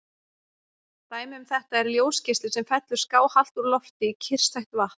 Dæmi um þetta er ljósgeisli sem fellur skáhallt úr lofti í kyrrstætt vatn.